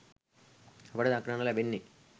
අපට දක්නට ලැබෙන්නේ